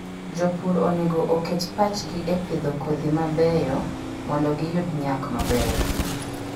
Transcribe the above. Jopur onego oket pachgi e pidho kodhi mabeyo mondo giyud nyak maber.